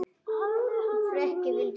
Friðrik vildi fara.